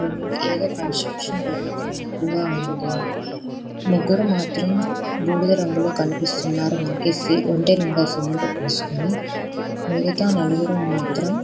ఏదో కన్స్ట్రక్షన్ జరుగుతుంది నట్టుగా ఉన్నాది. ముగ్గురు మాత్రము బూడిద రంగులో కనిపిస్తున్నారు. సి ఒంటినిండా సిమెంట్ పూసుకొని మిగతా నాలుగురు మాత్రమ్--